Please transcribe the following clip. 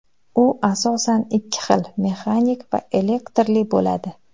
U asosan ikki xil mexanik va elektrli bo‘ladi.